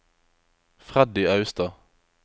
Freddy Austad